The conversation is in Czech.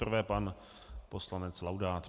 Nejprve pan poslanec Laudát.